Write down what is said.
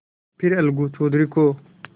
फिर अलगू चौधरी को